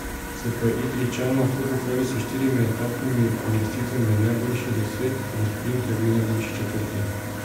Se pa Idrijčan lahko pohvali s štirimi etapnimi uvrstitvami med najboljših deset, v sprintu je bil najboljši četrti.